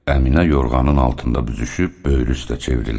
Əminə yorğanın altında büzüşüb böyürü üstə çevrildi.